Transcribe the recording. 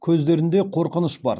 көздерінде қорқыныш бар